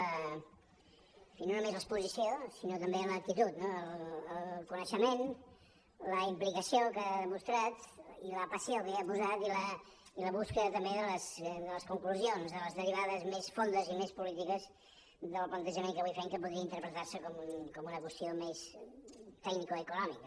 en fi no només l’exposició sinó també l’actitud no el coneixement la implicació que ha demostrat i la passió que hi ha posat i la recerca també de les conclusions de les derivades més fondes i més polítiques del plantejament que avui fem que podria interpretar se com una qüestió més tecnicoeconòmica